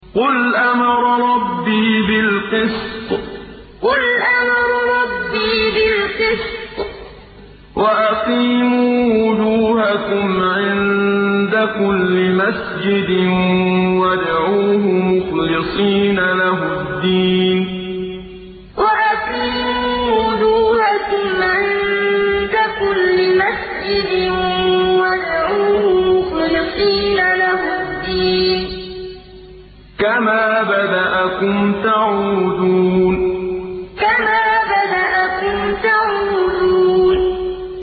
قُلْ أَمَرَ رَبِّي بِالْقِسْطِ ۖ وَأَقِيمُوا وُجُوهَكُمْ عِندَ كُلِّ مَسْجِدٍ وَادْعُوهُ مُخْلِصِينَ لَهُ الدِّينَ ۚ كَمَا بَدَأَكُمْ تَعُودُونَ قُلْ أَمَرَ رَبِّي بِالْقِسْطِ ۖ وَأَقِيمُوا وُجُوهَكُمْ عِندَ كُلِّ مَسْجِدٍ وَادْعُوهُ مُخْلِصِينَ لَهُ الدِّينَ ۚ كَمَا بَدَأَكُمْ تَعُودُونَ